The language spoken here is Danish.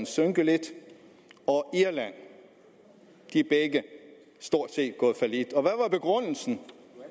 synke lidt og irland de er begge stort set gået fallit og begrundelsen